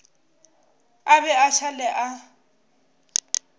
a be a šale a